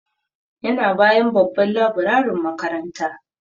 Yana bayan babban laburarin makaranta.